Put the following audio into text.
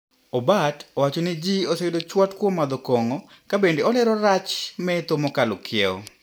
Obat wacho ni jii oseyudo chwat kuom madho kong`o kabende olero rach metho mokalo kiewo.